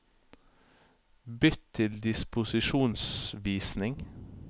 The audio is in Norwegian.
Bytt til disposisjonsvisning